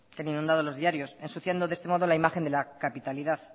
que han inundado los diarios ensuciando de este modo la imagen de la capitalidad